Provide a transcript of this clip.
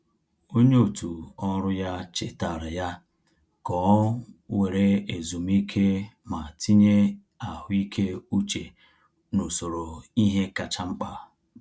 Onye otù ọrụ ya chetaara ya ka ọ were ezumike ma tinye ahụike uche n’usoro ihe kacha mkpa.